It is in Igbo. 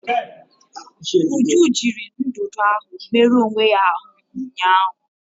Uju jiri ndụdụ ahụ merụọ onwe ya ahụ ụnyaahụ.